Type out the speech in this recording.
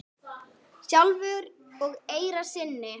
sjálfur í eyra syni?